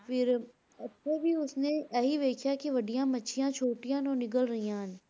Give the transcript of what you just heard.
ਫਿਰ ਇੱਥੇ ਵੀ ਉਸ ਨੇ ਇਹੀ ਵੇਖਿਆ ਕਿ ਵੱਡੀਆਂ ਮੱਛੀਆਂ ਛੋਟੀਆਂ ਨੂੰ ਨਿਗਲ ਰਹੀਆਂ ਹਨ।